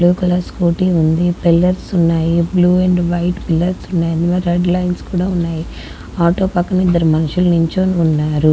Yellow colour scooty ఉంది. Pillars ఉన్నాయి. Blue and white pillars ఉన్నాయి. రెడ్ లైన్స్ కూడా ఉన్నాయి. ఆటో పక్కన ఇద్దరు మనుషులు నిలుచొని ఉన్నారు.